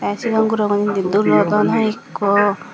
tay sigon gurogun indi dulodon hoyekko.